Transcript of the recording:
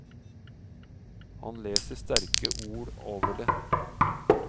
Han leser sterke ord over det.